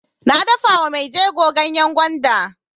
Na dafa wa mai jego ganyan gwanda.